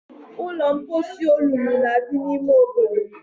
Ụlọ mposi olulu na-adị n'ime obodo